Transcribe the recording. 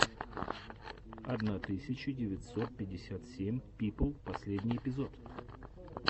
одна тысяча девятьсот пятьдесят семь пипл последний эпизод